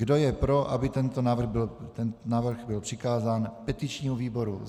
Kdo je pro, aby tento návrh byl přikázán petičnímu výboru?